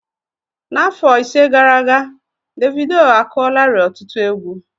N'afọ ise gara aga, Davidoo akụọlarii ọtụtụ égwu